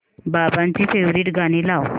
बाबांची फेवरिट गाणी लाव